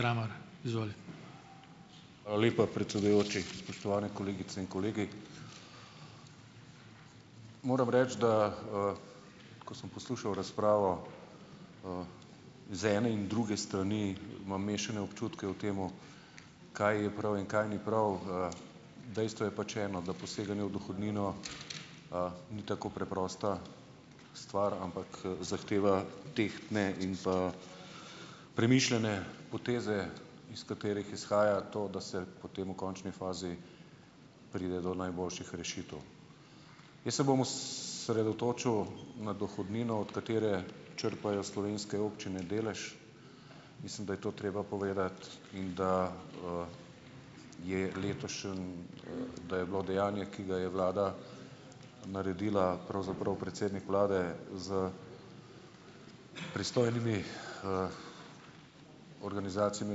Hvala lepa, predsedujoči! Spoštovani kolegice in kolegi! Moram reči, da, ko sem poslušal razpravo iz ene in druge strani, imam mešane občutke o tem, kaj je prav in kaj ni prav. Dejstvo je pač eno, da poseganje v dohodnino, ni tako preprosta stvar, ampak, zahteva tehtne in pa premišljene poteze, iz katerih izhaja to, da se potem v končni fazi pride do najboljših rešitev. Jaz se bom osredotočil na dohodnino, od katere črpajo slovenske občine delež. Mislim, da je to treba povedati in da, je letošnje, da je bilo dejanje, ki ga je vlada naredila, pravzaprav predsednik vlade s pristojnimi, organizacijami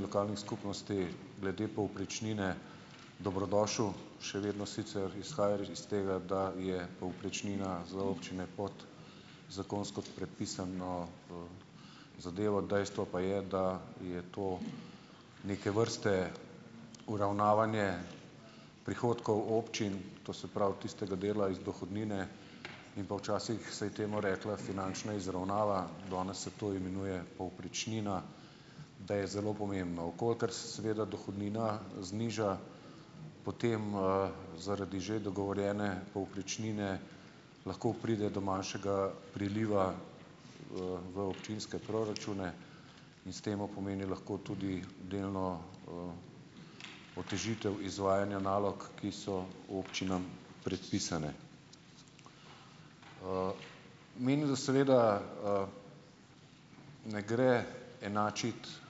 lokalnih skupnosti glede povprečnine, dobrodošlo. Še vedno sicer izhaja iz tega, da je povprečnina za občine pod zakonsko predpisano, zadevo, dejstvo pa je, da je to neke vrste uravnavanje prihodkov občin, to se pravi tistega dela iz dohodnine, in pa včasih se je temu rekla finančna izravnava, danes se to imenuje povprečnina, da je zelo pomembno. V kolikor se seveda dohodnina, zniža potem, zaradi že dogovorjene povprečnine lahko pride do manjšega priliva, v občinske proračune in s tem pomeni lahko tudi delno, otežitev izvajanja nalog, ki so občinam predpisane. Menim, da seveda, ne gre enačiti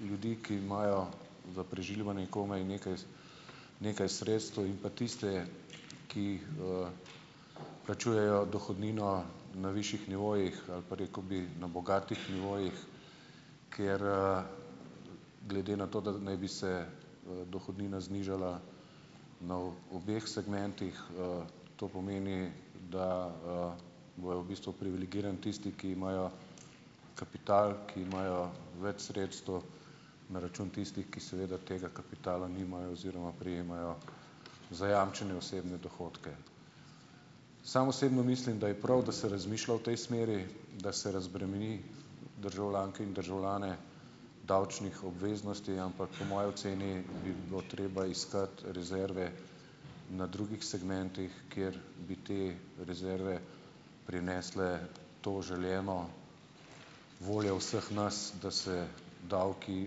ljudi, ki imajo za preživljanje komaj nekaj nekaj sredstev in pa tiste, ki, plačujejo dohodnino na višjih nivojih ali pa, rekel bi, na bogatih nivojih, ker, glede na to, da naj bi se, dohodnina znižala na obeh segmentih, to pomeni, da, bojo v bistvu privilegirani tisti, ki imajo kapital, ki imajo več sredstev, na račun tistih, ki seveda tega kapitala nimajo oziroma prejemajo zajamčene osebne dohodke. Sam osebno mislim, da je prav, da se razmišlja v tej smeri, da se razbremeni državljanke in državljane davčnih obveznosti, ampak po moji oceni bi bilo treba iskati rezerve na drugih segmentih, kjer bi te rezerve prinesle to želeno voljo vseh nas, da se davki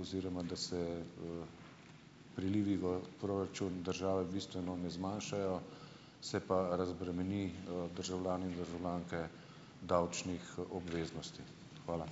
oziroma da se, prilivi v proračun države bistveno ne zmanjšajo, se pa razbremeni, državljane in državljanke davčnih obveznosti. Hvala.